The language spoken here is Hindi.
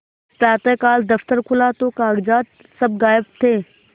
प्रातःकाल दफ्तर खुला तो कागजात सब गायब थे